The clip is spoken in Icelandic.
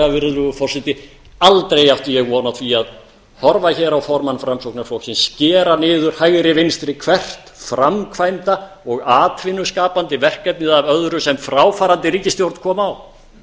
virðulegur forseti og sannarlega átti ég aldrei von á því að horfa hér á formann framsóknarflokksins skera niður hægri vinstri hvert framkvæmda og atvinnu skapandi verkefnið af öðru sem fráfarandi ríkisstjórn kom á eins og honum